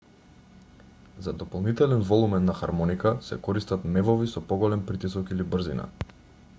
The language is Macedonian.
за дополнителен волумен на хармоника се користат мевови со поголем притисок или брзина